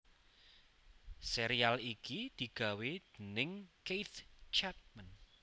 Sérial iki digawé déning Keith Chapman